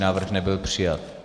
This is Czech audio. Návrh nebyl přijat.